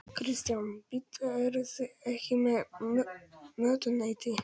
Kristján: Bíddu, eruð þið ekki með mötuneyti?